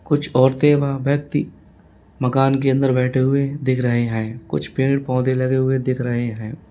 कुछ औरतें व व्यक्ति मकान के अंदर बैठे हुए दिख रहे हैं कुछ पेड़ पौधे लगे हुए दिख रहे हैं।